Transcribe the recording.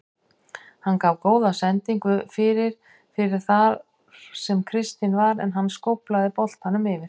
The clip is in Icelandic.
Hann gaf góða sendingu fyrir fyrir þar sem Kristinn var en hann skóflaði boltanum yfir.